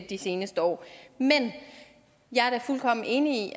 de seneste år men jeg er da fuldkommen enig